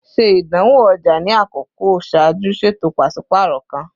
Ṣe idanwo ọja ni akọkọ ṣaaju ṣeto paṣipaarọ kan!